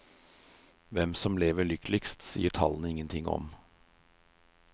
Hvem som lever lykkeligst, sier tallene ingenting om.